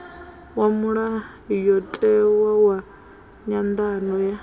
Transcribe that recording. wa mulayotewa wa nyanḓadzo ya